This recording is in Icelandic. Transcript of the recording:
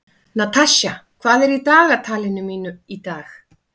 Natasja, hvað er í dagatalinu mínu í dag?